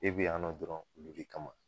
E bi yan nɔ dɔrɔn olu de kama.